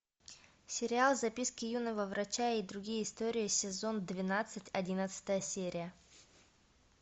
сериал записки юного врача и другие истории сезон двенадцать одиннадцатая серия